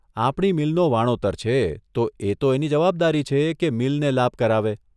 આપણી મીલનો વાણોતર છે તો એ તો એની જવાબદારી છે કે મીલને લાભ કરાવે.